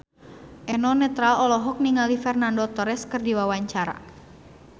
Eno Netral olohok ningali Fernando Torres keur diwawancara